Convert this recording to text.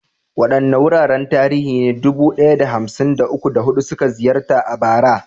Waɗanne wuraren tarihi ne dubu ɗaya da hamsin da uku, da hudu suka ziyarta a bara?